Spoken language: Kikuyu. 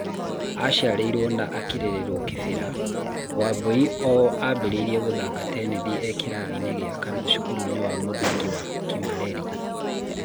Aciarĩirwo na kĩrererwo Kĩbĩra, Wambui o ambĩrĩirie gũthaka tenethi e kĩrathi gĩa kana cukuruinĩ wa mũthingi wa Kimareri.